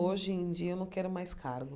Hoje em dia, eu não quero mais cargo.